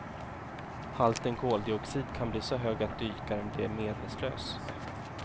Halten koldioxid kan bli så hög att dykaren blir medvetslös.